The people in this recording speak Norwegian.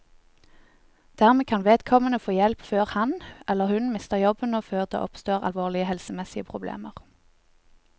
Dermed kan vedkommende få hjelp før han, eller hun, mister jobben og før det oppstår alvorlige helsemessige problemer.